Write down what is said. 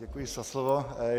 Děkuji za slovo.